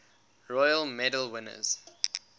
royal medal winners